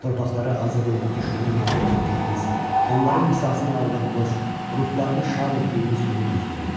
Torpaqları azad edib düşməni məğlub etdiyimiz, onların qisasını aldığımız, ruhlarını şad etdiyimiz günü gözləyirdilər.